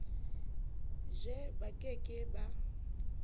je ba ke ke ba